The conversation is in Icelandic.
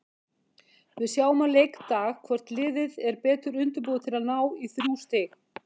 Við sjáum á leikdag hvort liðið er betur undirbúið til að ná í þrjú stig.